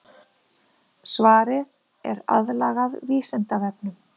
Svarið er aðlagað Vísindavefnum.